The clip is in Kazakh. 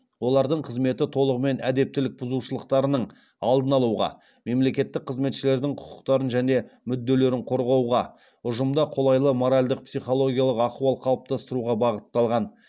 олардың қызметі толығымен әдептілік бұзушылықтарының алдын алуға мемлекеттік қызметшілердің құқықтарын және мүдделерін қорғауға ұжымда қолайлы моральдық психологиялық ахуал қалыптастыруға бағытталған